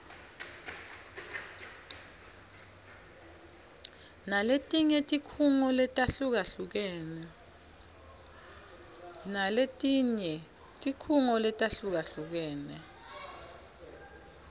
naletinye tikhungo letahlukahlukene